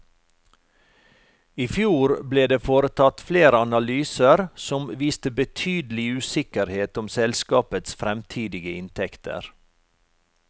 I fjor ble det foretatt flere analyser som viste betydelig usikkerhet om selskapets fremtidige inntekter.